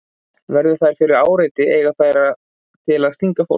Verði þær fyrir áreiti eiga þær það til að stinga fólk.